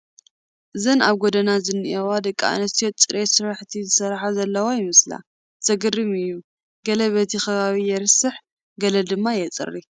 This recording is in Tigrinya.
እዘን ኣብ ጐደና ዝኔዋ ደቂ ኣንስትዮ ፅሬት ስራሕቲ ዝሰርሓ ዘለዋ ይመስላ፡፡ ዘግርም እዩ ገለ በቲ ከባቢኡ የርስሕ ገለ ድማ የፅርይ፡፡